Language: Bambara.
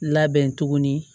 Labɛn tuguni